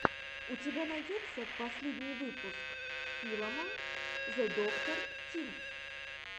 у тебя найдется последний выпуск филама зэдоктор тим